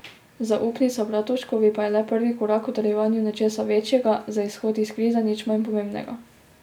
Zaupnica Bratuškovi pa je le prvi korak k utrjevanju nečesa večjega, za izhod iz krize nič manj pomembnega.